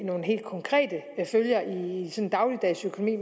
nogle helt konkrete følger i dagligdagens økonomi